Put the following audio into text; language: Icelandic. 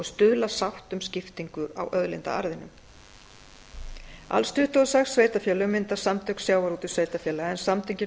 stuðla að sátt um skiptingu á auðlindaarðinum alls tuttugu og sex sveitarfélög mynda samtök sjávarútvegs sveitarfélaga en samtökin